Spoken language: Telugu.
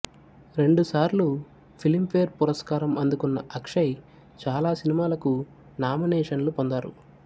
రెండుసార్లు ఫిలింఫేర్ పురస్కారం అందుకున్న అక్షయ్ చాలా సినిమాలకు నామినేషన్లు పొందారు